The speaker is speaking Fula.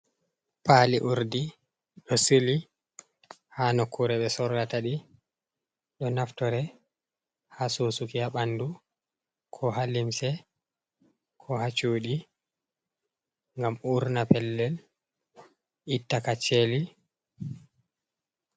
Paali Urdi ɗo sili haa nokkuure ɓe sorrata ɗi, ɗo naftore haa susuki haa ɓanndu koo haa limse koo haa cuuɗi ngam urna pellel itta kacceli.